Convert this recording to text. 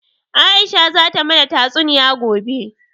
Aisha zata mana tatsuniya gobe